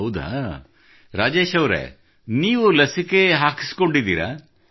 ಹೌದಾ ರಾಜೇಶ್ ಅವರೇ ನೀವು ಲಸಿಕೆ ಪಡೆದುಕೊಂಡಿರುವಿರಾ